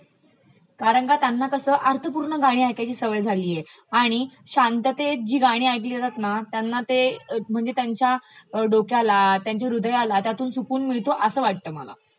कारण का त्यांना कसं अर्थपूर्ण गाणी ऐकायची सवय झालीय आणि शांततेत जी गाणी ऐकली जातात ना त्यांना ते म्हणजे त्यांचा डोक्याला, त्यांच्या हृदयाला त्यातून सुकून मिळतो त्यांना असं वाटतं मला